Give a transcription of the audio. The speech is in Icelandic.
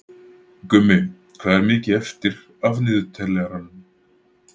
Gummi, hvað er mikið eftir af niðurteljaranum?